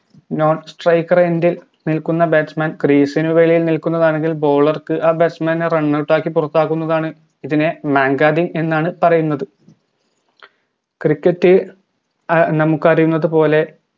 non striker ഇൽ നിൽക്കുന്ന batsman crease നു വെളിയിൽ നിൽക്കുന്നതാണെങ്കിൽ bowler ക്ക് ആ batsman നെ runout ആക്കി പുറത്താക്കുന്നതാണ് ഇതിനെ mankading എന്നാണ് പറയുന്നത് cricket നമുക്കറിയുന്നത് പോലെ